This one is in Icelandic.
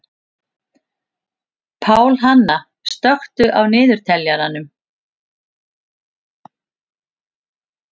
Pálhanna, slökktu á niðurteljaranum.